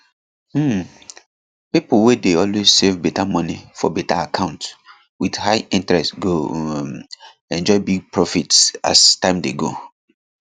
um pipo wey dey always save money for better accounts with high interest go um enjoy big profit as time dey go